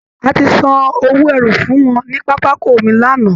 A ti san owó ẹrù fún wọn ní pápákọ omi lánàá